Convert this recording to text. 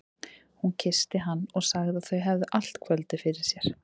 Hún kyssti hann og sagði að þau hefðu allt kvöldið fyrir sér.